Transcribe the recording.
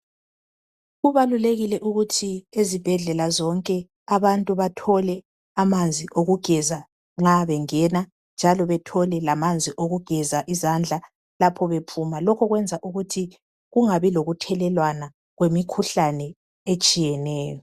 Kubalulekile ukuthi ezibhedlela zonke abantu bathole amanzi okugeza nxa bengena njalo bathole lamanzi okugeza izandla lapho bephuma .Lokho kwenza ukuthi kungabi lokuthelelwana kwemikhuhlane etshiyeneyo.